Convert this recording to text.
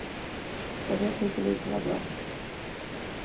Och det tyckte vi inte var bra.